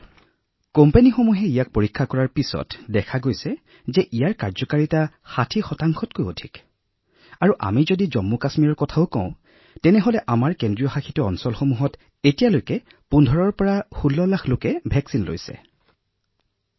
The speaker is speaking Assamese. আৰু কোম্পানীবোৰেও নিজৰ যিবোৰ পৰীক্ষণ কৰিছে তাতো দেখা গৈছে যে কাৰ্যকাৰিতা ৬০ তকৈ অধিক আৰু যদি আমি জম্মু আৰু কাশ্মীৰৰ কথা কও এতিয়ালৈকে ১৫ ৰ পৰা ১৬ লাখ লোকে আমাৰ কেন্দ্ৰীয়শাসিত অঞ্চলত এই প্ৰতিষেধক লাভ কৰিছে